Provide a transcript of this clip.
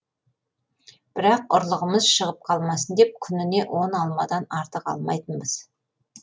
бірақ ұрлығымыз шығып қалмасын деп күніне он алмадан артық алмайтынбыз